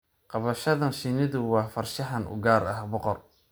Qabashada shinnidu waa farshaxan u gaar ah boqor.